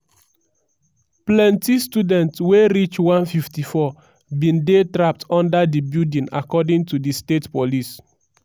plenti students wey reach 154 bin dey trapped under di building according to di state police.